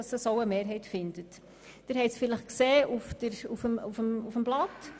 Sie haben es vielleicht in den Unterlagen gesehen: